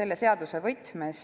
selle seaduse võtmes.